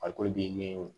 Farikolo bi ɲɛ wo